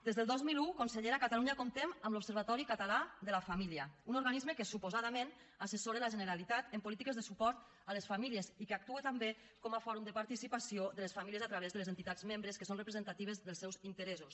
des del dos mil un consellera a catalunya comptem amb l’observatori català de la família un organisme que suposadament assessora la generalitat en polítiques de suport a les famílies i que actua també com a fòrum de participació de les famílies a través de les entitats membres que són representatives dels seus interessos